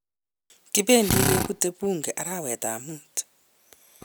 kibendi kebutei bunge arawetab mut.